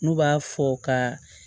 N'u b'a fɔ ka